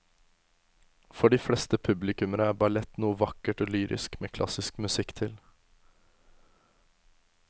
For de fleste publikummere er ballett noe vakkert og lyrisk med klassisk musikk til.